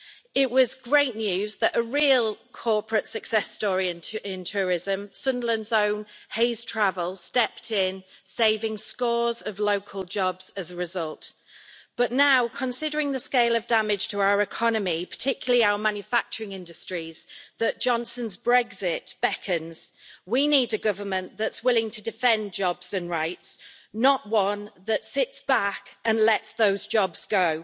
It was great news that a real corporate success story in tourism Sunderland's own Hays Travel stepped in, saving scores of local jobs as a result. But now, considering the scale of damage to our economy, and particularly our manufacturing industries, as Johnson's Brexit beckons, we need a government that is willing to defend jobs and rights, not one that sits back and lets those jobs go